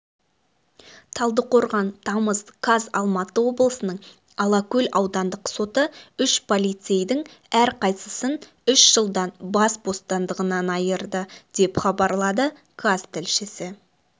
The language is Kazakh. талдықорған тамыз қаз алматы облысының алакөл аудандық соты үш полицейдің әрқайсысын үш жылдан бас бостандығынан айырды деп хабарлады қаз тілшісі